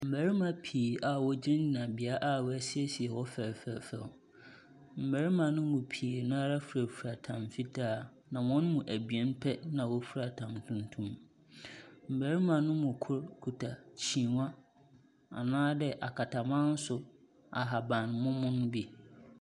Mbarima pii a wogyina bea a wɔasiesie hɔ fɛfɛɛfɛw. Mbarima no mu pii no ara firafira tam fitaa, na hɔn mu ebien pɛ na wɔfira tam tuntum. Mbarima no mu kor kita kyinii anaadɛ akatanmanso ahabammono bi.